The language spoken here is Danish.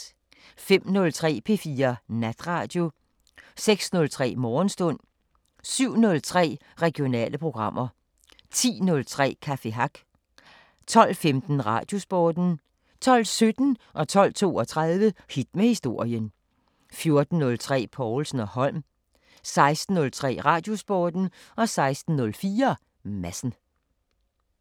05:03: P4 Natradio 06:03: Morgenstund 07:03: Regionale programmer 10:03: Café Hack 12:15: Radiosporten 12:17: Hit med historien 12:32: Hit med historien 14:03: Povlsen & Holm 16:03: Radiosporten 16:04: Madsen